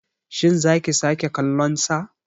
Shin za ki sake kallonsa.